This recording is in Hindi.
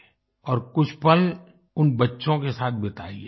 और कुछ पल उन बच्चों के साथ बिताइए